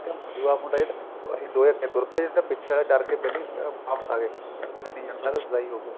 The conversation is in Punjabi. ਤੇ ਦੁਆ ਮੁੰਡਾ ਜਿਹੜਾ ਅਸੀਂ ਅੱਗੇ ਤੁਰ ਪਏ ਪਿੱਛੇ ਆਲਾ ਡਰ ਕੇ ਪਹਿਲਾਂ ਹੀ ਵਾਪਿਸ ਆ ਗਏ ਗਏ